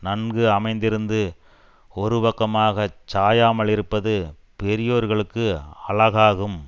நன்கு அமைந்திருந்து ஒரு பக்கமாகச் சாயாமலிருப்பது பெரியோர்களுக்கு அழகாகும்